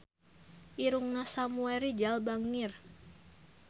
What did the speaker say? Irungna Samuel Rizal bangir